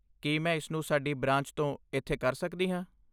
ਕੀ ਮੈਂ ਇਸਨੂੰ ਸਾਡੀ ਬ੍ਰਾਂਚ ਤੋਂ ਇੱਥੇ ਕਰ ਸਕਦੀ ਹਾਂ?